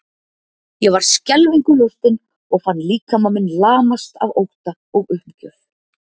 Ég var skelfingu lostin og fann líkama minn lamast af ótta og uppgjöf.